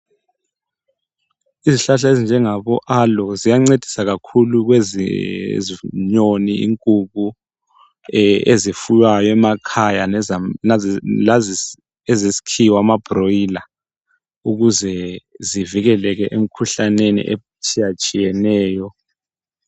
Izihlahla ezinjengabo alo ziyancedisa kakhulu kwezenyoni, inkukhu, ezifuywayo emakhaya lazesikhiwa ama broiler ukuze zivikeleke emkhuhlaneni etshiyetshiyeneyo.